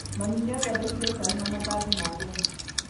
Mami nĩathondekire cai na mandathi ma ageni